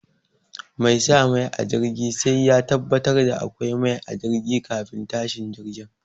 Mai sa mai a jirgi sai ya tabbatar da akwai mai a jirgi kafin tashin jirgi.